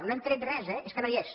no hem tret res eh és que no hi és